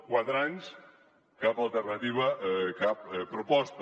quatre anys cap alternativa cap proposta